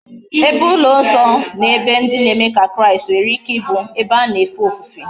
Ebe ulo nso na ebe ndi na eme ka kraist nwere ike ibu ebe ha na efe ofufe